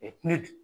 ne dun